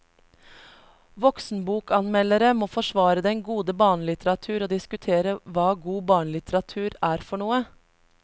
Voksenbokanmeldere må forsvare den gode barnelitteratur og diskutere hva god barnelitteratur er for noe.